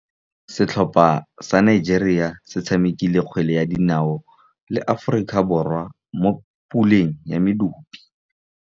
Setlhopha sa Nigeria se tshamekile kgwele ya dinaô le Aforika Borwa mo puleng ya medupe.